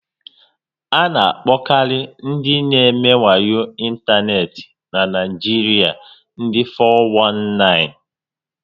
A na akpokari ndị n'eme wayo n'Ịntaneti n'Naijiria ndị four one nine